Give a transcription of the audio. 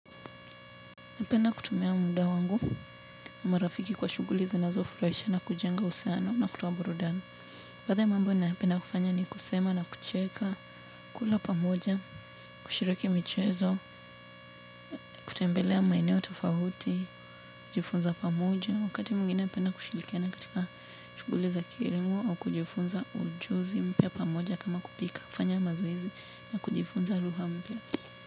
Napenda kutumia muda wangu na marafiki kwa shughuli zinazo furahisha na kujenga usana na kutoa burudani. Baadhi ya mambo nayopenda kufanya ni kusema na kucheka, kula pamoja, kushiriki michezo, kutembelea maeneo tofauti, kujifunza pamoja, wakati mwingine napenda kushirikiana katika shughuli za kilimo au kujifunza ujuzi mpya pamoja kama kupika kufanya mazoezi na kujifunza lugha mpya.